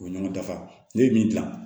O ye ɲɔgɔn dafa ne ye min dilan